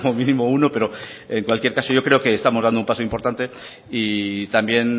mínimo uno pero en cualquier caso yo creo que estamos dando un paso importante y también